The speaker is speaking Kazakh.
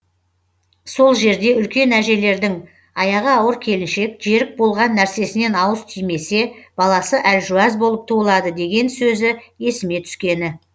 сол жерде үлкен әжелердің аяғы ауыр келіншек жерік болған нәрсесінен ауыз тимесе баласы әлжуаз болып туылады деген сөзі есіме түскені